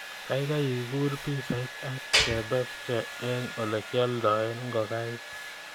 Gaigai guur pisait ak kebebche eng olegioldoen ngokaik